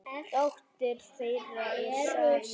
Dóttir þeirra er Sara, nemi.